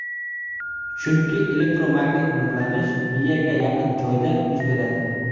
chunki elektromagnit nurlanish miyaga yaqin joyda yuz beradi.